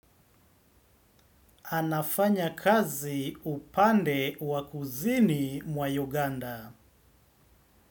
Anafanya kazi upande wakuzini mwa Uganda.